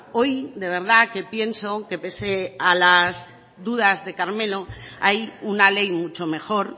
hoy de verdad que pienso que pese a las dudas de carmelo hay una ley mucho mejor